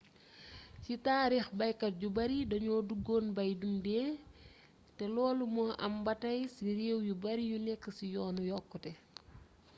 ci taariix baykat yu bari dañoo duggoon bay dundee te loolu moo am ba tey ci réew yu bari yu nekk ci yoonu yokkute